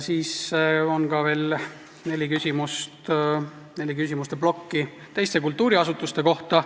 On ka neli küsimuste plokki teiste kultuuriasutuste kohta.